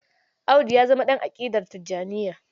Audu ya zama ɗa aƙidar Tijjaniyya.